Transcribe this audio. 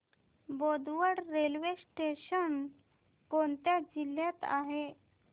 Bodwad railway station कोणत्या जिल्ह्यात आहे